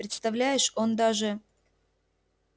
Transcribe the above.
представляешь он даже